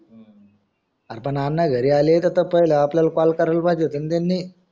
अरे पण अण्णा घरी आले तर पहिले आपल्याला call करायला पाहिजे होते ना त्यांनी